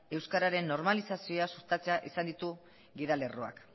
euskararen normalizazioa sustatzea izan ditu gidalerroak